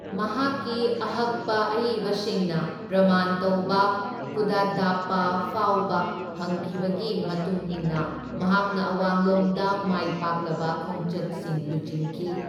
ꯃꯍꯥꯛꯀꯤ ꯑꯍꯛꯄ ꯑꯏꯕꯁꯤꯡꯅ ꯄ꯭ꯔꯃꯥꯟ ꯇꯧꯕ ꯀꯨꯗꯗꯥꯞꯄꯥ ꯐꯥꯎꯕ ꯐꯪꯈꯤꯕꯒꯤ ꯃꯇꯨꯡ ꯏꯟꯅ ꯃꯍꯥꯛꯅ ꯑꯋꯥꯡꯂꯣꯝꯗ ꯃꯥꯏ ꯄꯥꯛꯂꯕ ꯈꯣꯡꯆꯠꯁꯤꯡ ꯂꯨꯆꯤꯡꯈꯤ꯫